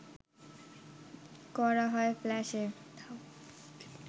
করা হয় ফ্ল্যাশে